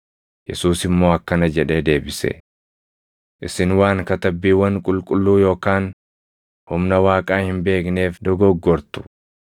Yesuus immoo akkana jedhee deebise; “Isin waan Katabbiiwwan Qulqulluu yookaan humna Waaqaa hin beekneef dogoggortu.